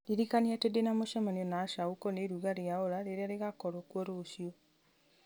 ndirikania atĩ ndĩna mũcemanio na asha ũkoniĩ iruga rĩa ola rĩrĩa rĩgakorwo kuo rũciũ